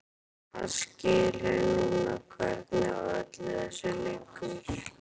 Hann skilur núna hvernig í öllu þessu liggur.